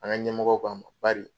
An ka ɲɛmɔgɔ k'an ma bari